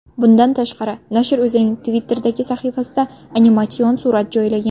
Bundan tashqari, nashr o‘zining Twitter’dagi sahifasida animatsion surat joylagan.